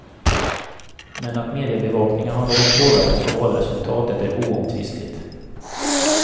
Men att mediabevakningen har någon påverkan på valresultatet är oomtvistligt.